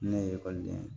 Ne ye ekɔliden ye